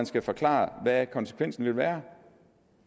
skal forklare hvad konsekvensen vil være